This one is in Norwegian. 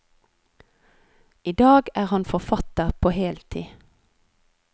I dag er han forfatter på heltid.